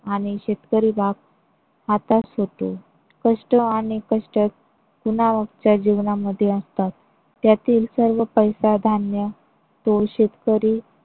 आणि शेतकरी बाग. आता सुटू कष्ट आणि कष्ट पुन्हा च्या जीवना मध्ये असतात. त्यातील सर्व पैसा धान्य तो शेतकरी.